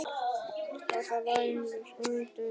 Því svaraði Oddur engu.